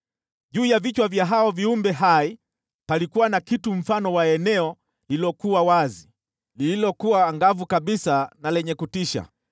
Juu ya vichwa vya hao viumbe hai palikuwa na kitu mfano wa eneo lililokuwa wazi, lililokuwa angavu kabisa na lenye kutisha.